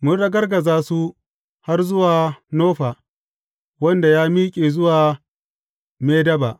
Mun ragargaza su har zuwa Nofa wanda ya miƙe zuwa Medeba.